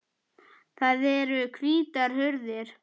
Það eru hvítar hurðir.